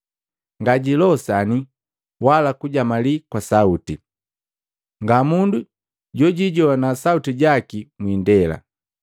Ngajilosani wala kujamalii kwa sauti, nga mundu jojijoana sauti jaki mwiindela.